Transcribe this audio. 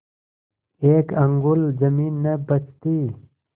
एक अंगुल जमीन न बचती